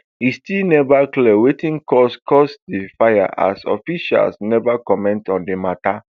e still neve clear wetin cause cause di fire as officials never comment on di mata